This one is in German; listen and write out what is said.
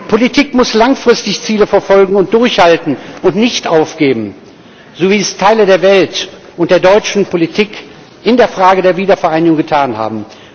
Politik muss langfristig Ziele verfolgen und durchhalten und nicht aufgeben, wie es Teile der Welt und der deutschen Politik in der Frage der Wiedervereinigung getan haben.